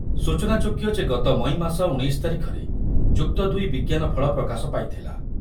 ସୂଚନା ଯୋଗ୍ୟ ଯେ ଗତ ମଇ ମାସ ଉଣେଇଶ ତାରିଖରେ ଯୁକ୍ତ ଦୁଇ ବିଜ୍ଞାନ ଫଳ ପ୍ରକାଶ ପାଇଥିଲା।